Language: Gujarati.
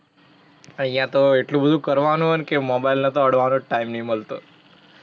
અહીંયા તો એટલું બધુ કરવાનું હે ને કે મોબાઇલને તો અડવાનો જ તો ટાઇમ નહી મલતો.